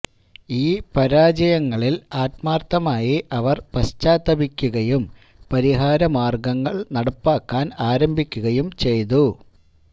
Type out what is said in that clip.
ഈ പരാജയങ്ങളില് ആത്മാര്ത്ഥമായി അവര് പശ്ചാത്തപിക്കുകയും പരിഹാരമാര്ഗങ്ങള് നടപ്പാക്കാന് ആരംഭിക്കുകയും ചെയ്തു